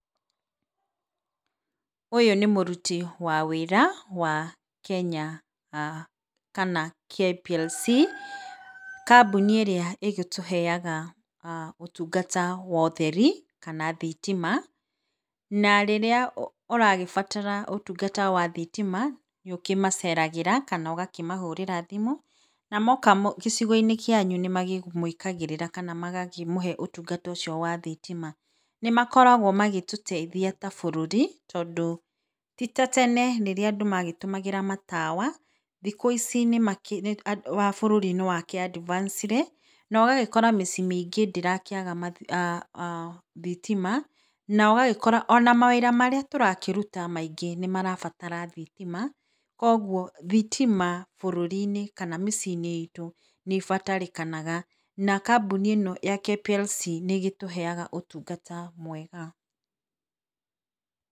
Ũyũ nĩ mũruti wa wĩra wa Kenya, kana KPLC, kambuni ĩrĩa ĩgĩtũheaga ũtungata wa ũtheri kana thitima, na rĩrĩa ũrabatara ũtungata wa thitima nĩũkĩmaceragĩra kana ũgakĩmahũrĩra thimu na moka gĩcigo-inĩ kĩanyu nĩmamwĩkagĩrĩra kana makamũhe ũtungata ũcio wa thitima, nĩmakoragwo magĩtũteithia ta bũrũri, tondũ ti ta tene rĩrĩa andũ magĩtũmagĩra matawa, thikũ ici bũrũri nĩwakĩ advance re no ũgagĩkora mĩciĩ mingĩ ndĩrakĩaga thitima, na ĩgagĩkora ona mawĩra marĩa tũrakĩruta maingĩ nĩmarabatara thitima, koguo thitima bũrũri-inĩ kana mĩciĩ-inĩ itũ nĩbatarĩkanaga na kambũni ĩno ya KPLC, nĩgĩtuheaga ũtungata mwega.